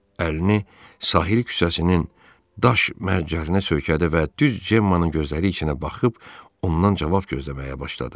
Əlini sahil küçəsinin daş mərcərinə söykədi və düz Cemma'nın gözləri içinə baxıb ondan cavab gözləməyə başladı.